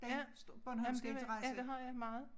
Ja jamen det vil ja det har jeg meget